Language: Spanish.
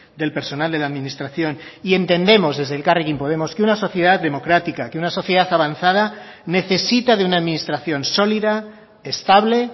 del personal de la administración y entendemos desde elkarrekin podemos que una sociedad democrática que una sociedad avanzada necesita de una administración sólida estable